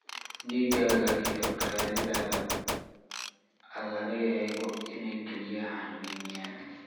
dhiigaaga iyo kaadidaada ha laga eego inay kelyaha xanuunayaan.